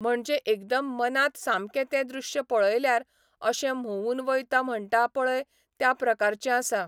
म्हणजे एकदम मनांत सामकें तें दृश्य पळयल्यार अशें म्होंवून वयता म्हणटा पळय त्या प्रकारचे आसा.